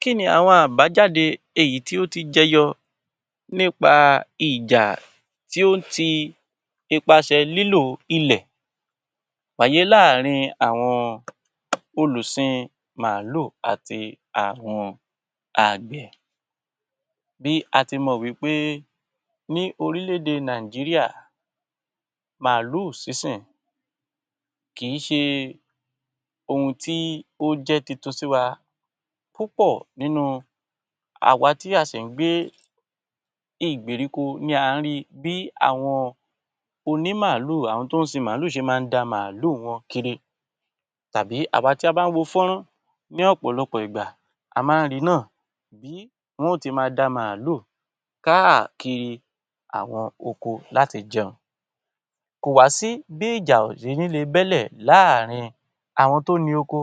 Kí ni àwọn àbájáde èyí tí ó ti jẹyọ nípa ìjà tí ó ń ti ipasẹ̀ lílò ilẹ̀ wáyé láàárín àwọn olùsin màálù àti àwọn àgbẹ̀? Bí a ti mọ̀ wí pé ní orílẹ̀-èdè Nàìjíríà màálù sísìn kìí ṣe ohun tí ó jẹ́ tuntun sí wa. Púpọ̀ nínú àwa tí a sì ń gbé ìgbèríko ni à ń ri bí àwọn ònímàálù, àwọn tó ń sin màálù ṣe máa ń da màálù wọn kiri tàbí àwa tí a bá ń wo fọ́nrán ní ọ̀pọ̀lọpọ̀ ìgbà a máa ń ri náà bí wọn ó ti máa da màálù káàkiri àwọn oko láti jẹun. Kò wá sí bí ìjà ò ṣe ní le bẹ́ lẹ̀ láàárín àwọn tó ni oko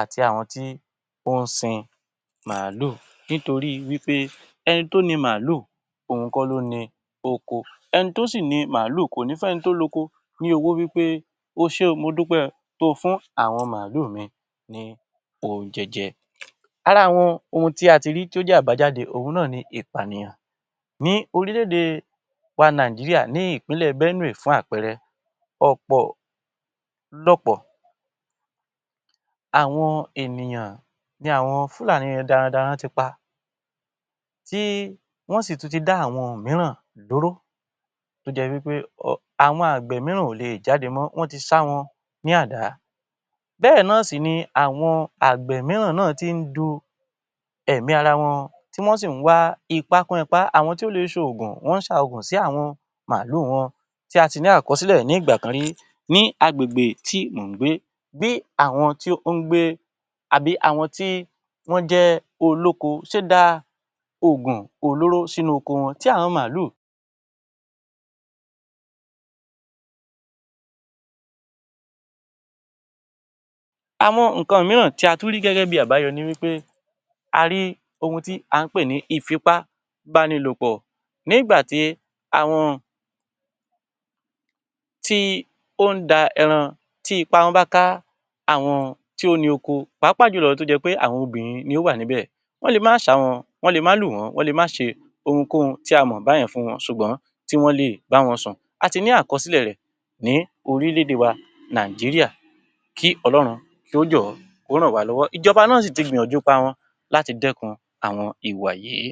àti àwọn tó ń sin màálù nítorí wí pé ẹni tó ni màálù òun kọ́ ló ni ọkọ. Ẹni tó sì ni màálù kò ní fẹ́ni to loko ni owó wí pé; o ṣẹ́ o, mo dúpẹ́ o to fún àwọn màálù mi ní oúnjẹ jẹ. Ara àwọn ohun tí a ti rí to jẹ́ àbájáde òhun náà ni ìpànìyàn. Ní orílẹ̀-èdè wa Nàìjíríà ní Ìpínlẹ̀ Benue fún àpẹẹrẹ, ọ̀pọ̀lọpọ̀ àwọn ènìyàn ni àwọn Fulani darandaran ti pa, tí wọ́n sì tún ti dá àwọn mìíràn lóró tó jẹ́ wí pé àwọn àgbẹ̀ míràn ò lè jáde mọ́, wọ́n ti ṣá wọn ní àdá. Bẹ́ẹ̀ náà sì ni àwọn àgbẹ̀ miran náà tí ń du èmi ara wọn, tí wọ́n sì ń wá ipá kún ipá. Àwọn tí ó lè ṣoògùn wọ́n ń ṣa oògùn sí àwọn màálù wọn, tí a ti ní àkọsílẹ̀ nígbà kan rí ní agbègbè tí mò ń gbé. Bí àwọn tí ó ń gbé àbí àwọn tí wọ́n jẹ́ olóko ṣe da oògùn olóró sínú oko wọn tí àwọn màálù. Àwọn nǹkan míràn tí a tún rí gẹ́gẹ́ bíi àbáyọ ni wí pé, a rí ohun tí à ń pè ní ìfipábánilòpọ. Nígbà tí àwọn tí ó ń da ẹran tí ipá wọn bá ká àwọn tí ó ní oko pàápàá jù lọ tó jé pé àwọn obìnrin ni ó wà níbẹ̀, wọ́n le má ṣá wọn, wọ́n le má lù wọ́n, wọ́n le má ṣe ohunkóhun tí a mọ̀ bá yẹn fún wọn ṣùgbọ́n tí wọ́n lè bá wọn sùn. A ti ní àkọsílẹ̀ rẹ̀ ní orílẹ̀-èdè wa Nàìjíríà kí Ọlọ́run kí ó jọ̀ọ́, kí ó ràn wá lọ́wọ́. Ìjọba náà sì ti gbìyànjú ipa wọn láti dẹ́kun àwọn ìwà yìí.